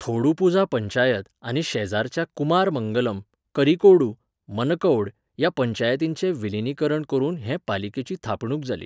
थोडुपुझा पंचायत आनी शेजरच्या कुमारमंगलम, करिकोडू, मनकौड ह्या पंचायतींचें विलीनीकरण करून हे पालिकेची थापणूक जाली.